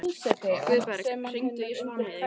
Guðberg, hringdu í Svanheiði.